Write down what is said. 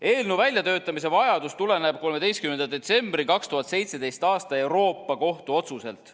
Eelnõu väljatöötamise vajadus tuleneb 13. detsembri 2017. aasta Euroopa Kohtu otsusest.